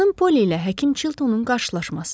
Xanım Poli ilə həkim Çiltonun qarşılaşması.